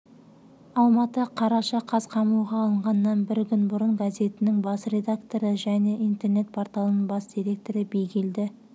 алматы қараша қаз қамауға алынғаннан бір күн бұрын газетінің бас редакторы және интернет-порталының бас директоры бигелді